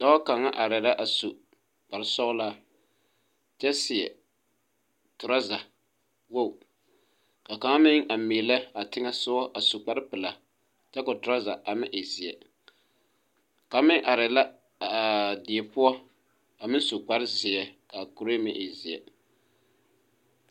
Dɔɔ kaŋa areɛɛ la a su kparesɔglaa kyɛ seɛ trɔza woge ka kaŋa meŋ a meelɛ a teŋɛsugɔ su kparepilaa kyɛ seɛ trɔza a meŋ e zeɛ kaŋ meŋ areɛɛ la aa die poɔ a meŋ su kparezeɛ kaa kuree meŋ e zeɛ.